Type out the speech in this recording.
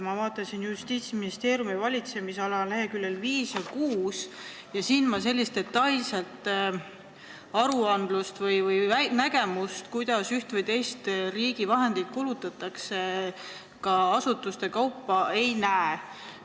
Ma vaatasin Justiitsministeeriumi valitsemisala lehekülgedel 5 ja 6, aga sellist detailset viidet, kuidas üht või teist riigi summat asutustes kulutatakse, ei näe.